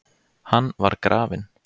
Hann var grafinn.